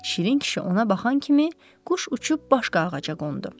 Şirin kişi ona baxan kimi quş uçub başqa ağaca qondu.